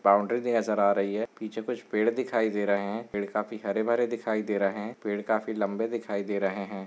पीछे कुछ बाउन्ड्री नजर आ रही है पीछे कुछ पेड़ दिखाई दे रहे है पेड़ काफी हरे भरे दिखाई दे रहे है पेड़ काफी लंबे दिखाई दे रहे है।